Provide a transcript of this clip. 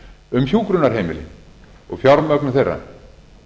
um hjúkrunarheimili og fjármögnun þeirra